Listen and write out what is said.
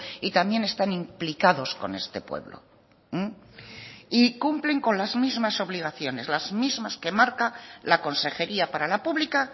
y también están implicados con este pueblo y cumplen con las mismas obligaciones las mismas que marca la consejería para la pública